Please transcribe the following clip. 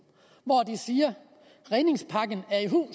hvor de siger redningspakken